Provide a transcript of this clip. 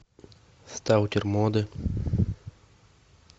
сталкер моды